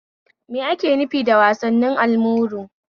Me ake nufi da wasannin almuru?